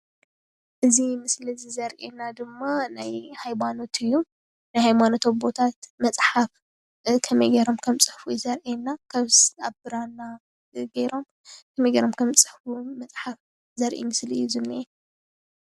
እዚ ምስሊ እዚ ዘሪኤና ድማ ናይ ሃይማኖት እዩ። ሃይማኖት ኣቦታት መፅሓፍ ከመይ ገይሮም ኣብ ብራና ከመይ ገይሮም ከምዝፅሕፍ ዘሪኢ እዩ።